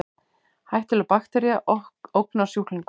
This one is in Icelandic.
Hættuleg baktería ógnar sjúklingum